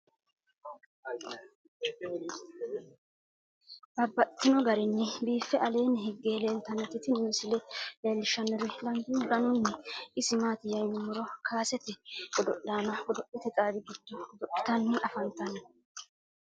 Babaxxittinno garinni biiffe aleenni hige leelittannotti tinni misile lelishshanori danu danunkunni isi maattiya yinummoro kassete godo'lanno godo'lette xawi giddo godo'littani affanttanno